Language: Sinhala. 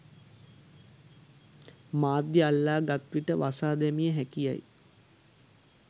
මාධ්‍ය අල්ලා ගත් විට වසා දැමිය හැකි යැයි